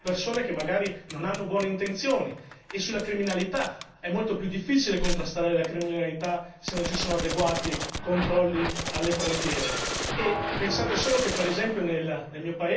Purtroppo l'Europa non è fatta solo da cittadini buoni, è fatta anche di persone che magari non hanno buone intenzioni e sulla criminalità, è molto più difficile contrastare la criminalità se non ci sono adeguati controlli alle frontiere.